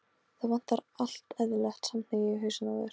Það vantar allt eðlilegt samhengi í hausinn á þér.